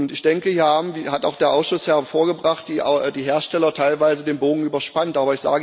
Ich denke, hier hat auch der Ausschuss hervorgebracht, dass die Hersteller teilweise den Bogen überspannt haben.